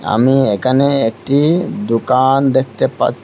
আমি এখানে একটি দোকান দেখতে পাছ--